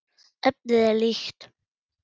Efnið er líkt.